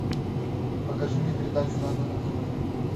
покажи мне передачу нано на тв